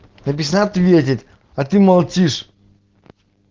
написано ответить а ты молчишь